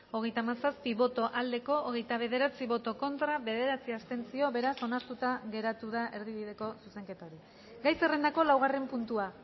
hogeita hamazazpi boto aldekoa hogeita bederatzi contra bederatzi abstentzio beraz onartuta geratu da erdibideko zuzenketa hori gai zerrendako laugarren puntua